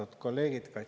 Austatud kolleegid!